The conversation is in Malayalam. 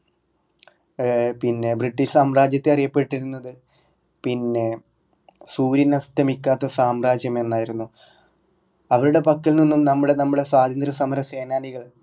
ഏർ പിന്നെ ബ്രിട്ടീഷ് സാമ്രാജ്യത്തെ അറിയപ്പെട്ടിരുന്നത് പിന്നെ സൂര്യൻ അസ്തമിക്കാത്ത സാമ്രാജ്യം എന്നായിരുന്നു അവരുടെ പക്കൽ നിന്നും നമ്മടെ നമ്മടെ സ്വാതന്ത്യ സമര സേനാനികൾ